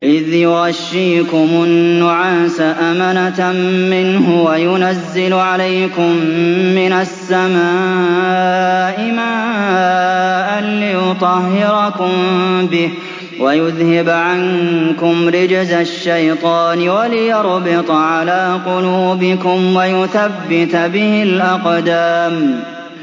إِذْ يُغَشِّيكُمُ النُّعَاسَ أَمَنَةً مِّنْهُ وَيُنَزِّلُ عَلَيْكُم مِّنَ السَّمَاءِ مَاءً لِّيُطَهِّرَكُم بِهِ وَيُذْهِبَ عَنكُمْ رِجْزَ الشَّيْطَانِ وَلِيَرْبِطَ عَلَىٰ قُلُوبِكُمْ وَيُثَبِّتَ بِهِ الْأَقْدَامَ